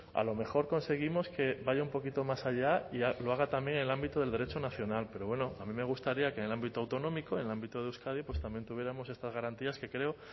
a lo mejor conseguimos que vaya un poquito más allá y lo haga también en el ámbito del derecho nacional pero bueno a mí me gustaría que en el ámbito autonómico en el ámbito de euskadi pues también tuviéramos estas garantías que creo